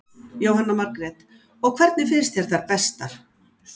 Jóhanna Margrét: Og hvernig finnst þér þær bestar?